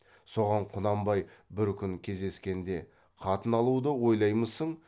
соған құнанбай бір күн кездескенде қатын алуды ойлаймысың